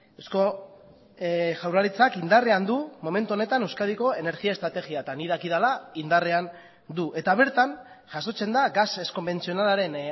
eusko jaurlaritzak indarrean dumomentu honetan euskadiko energia estrategia eta nik dakidala indarrean du eta bertan jasotzen da gas ez konbentzionalaren